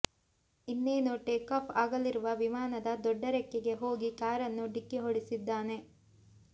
ಇನ್ನೇನು ಟೇಕಾಫ್ ಆಗಲಿರುವ ವಿಮಾನದ ದೊಡ್ಡ ರೆಕ್ಕೆಗೆ ಹೋಗಿ ಕಾರನ್ನು ಡಿಕ್ಕಿ ಹೊಡೆಸಿದ್ದಾನೆ